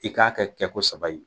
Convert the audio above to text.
I k'a kɛ kɛ ko saba in ye.